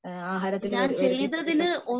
ആഹാരത്തിൽ വരുത്തിയിട്ടുള്ള എഹ്ഹ